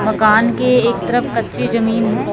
मकान के एक तरफ कच्ची जमीन है।